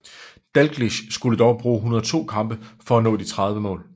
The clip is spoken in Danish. Dalglish skulle dog bruge 102 kampe for at nå de 30 mål